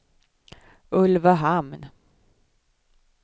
Ulvöhamn